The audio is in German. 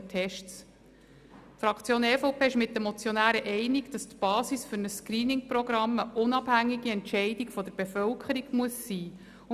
Die Fraktion EVP geht mit den Motionären einig, dass die Basis für ein Screening-Programm eine unabhängige Entscheidung der Bevölkerung sein muss.